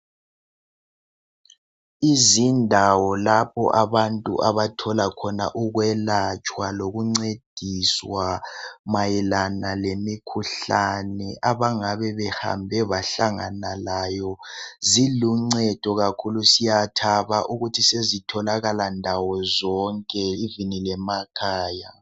Izindawo lapho abantu abathola khona ukwelatshwa lokuncediswa mayelana lemikhuhlane abangabe behambe bahlangana layo. Ziluncedo kakhulu siyathaba ukuthi sezitholakala ndawozonke lasemakhaya.